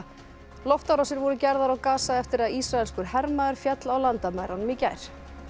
loftárásir voru gerðar á eftir að ísraelskur hermaður féll á landamærunum í gær